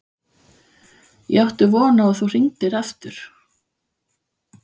Ég átti von á að þú hringdir aftur.